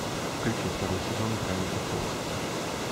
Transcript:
включи второй сезон гравити фолз